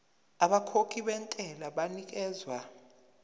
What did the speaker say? abakhokhi bentela banikezwa